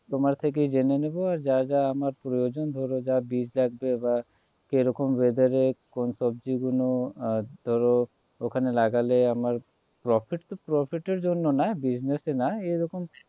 তোমার থেকে জেনে নেবো আর যা যা আমার প্রযোজন ধরো যা বীজ লাগবে বা কিরকম weather এ কোন সবজি গুলো ধরো ওখানে লাগালে আমার profit তো profit এর জন্য না business এ না এরকম